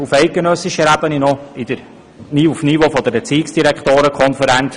auf eidgenössischer Ebene auf der Stufe der Erziehungsdirektorenkonferenz.